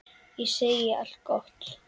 Ég segi allt gott.